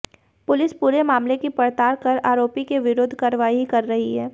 police पूरे मामले की पड़ताल कर आरोपी के विरुद्ध कार्रवाई कर रही है